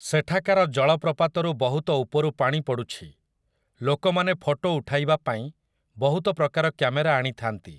ସେଠାକାର ଜଳପ୍ରପାତରୁ ବହୁତ ଉପରୁ ପାଣି ପଡ଼ୁଛି । ଲୋକମାନେ ଫଟୋ ଉଠାଇବା ପାଇଁ ବହୁତ ପ୍ରକାର କ୍ୟାମେରା ଆଣିଥାନ୍ତି ।